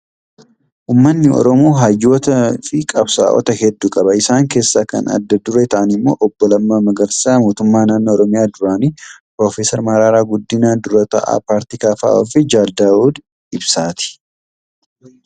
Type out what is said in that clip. Uummanni Oromoo hayyootaa gi qabsaa'ota hedduu qaba. Isaan keesaa kan adda duree ta'an immoo obbo Lammaa Magarsaa mootummaa naannoo Oromiyaa duraanii, Piroofeser Mararaa Guddinaa dura taa'aa paartii KFO fi Jaal Daawud Ibsaati.